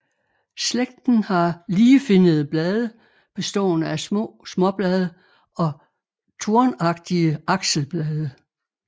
Slægten har ligefinnede blade bestående af små småblade og tornagtige akselblade